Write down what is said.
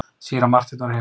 Síra Marteinn var heima.